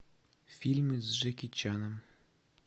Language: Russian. фильмы с джеки чаном